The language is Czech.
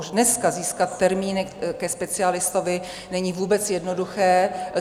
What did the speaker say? Už dneska získat termíny ke specialistovi není vůbec jednoduché.